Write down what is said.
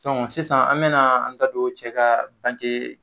sisan an bɛ na an da don cɛ ka